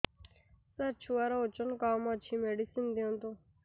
ସାର ଛୁଆର ଓଜନ କମ ଅଛି ମେଡିସିନ ଦିଅନ୍ତୁ